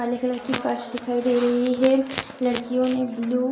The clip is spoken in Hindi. काले कलर की फ़र्श दिखाई दे रही है लड़कियों ने ब्लू --